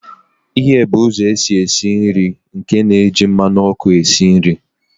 Ighe bụ ụzọ esi esi nri nke na-eji mmanụ ọkụ esi nri.